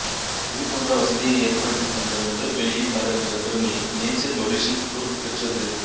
இதுபோன்ற வசதியை ஏற்படுத்தித் தந்த முதல் வெளியீட்டாளர் என்ற பெருமையை நேச்சர் பப்ளிஷிங் குரூப் பெற்றது